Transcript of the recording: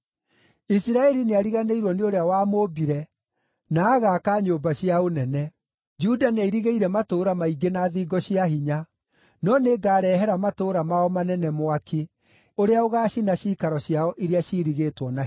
Isiraeli nĩariganĩirwo nĩ ũrĩa wamũmbire, na agaaka nyũmba cia ũnene; Juda nĩairigĩire matũũra maingĩ na thingo cia hinya. No nĩngarehere matũũra mao manene mwaki ũrĩa ũgaacina ciikaro ciao iria ciirigĩtwo na hinya.”